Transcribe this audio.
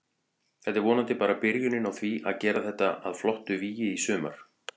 Þetta er vonandi bara byrjunin á því að gera þetta að flottu vígi í sumar.